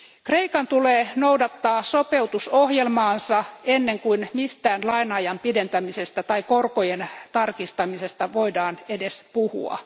Kreikan tulee noudattaa sopeutusohjelmaansa ennen kuin mistään laina ajan pidentämisestä tai korkojen tarkistamisesta voidaan edes puhua.